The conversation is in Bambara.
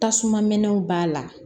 Tasuma mɛnw b'a la